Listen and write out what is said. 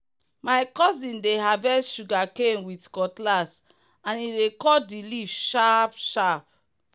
my cousin dey harvest sugarcane with cutlass and e dey cut the leaf sharp-sharp.